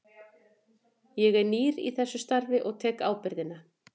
Ég er nýr í þessu starfi og ég tek ábyrgðina.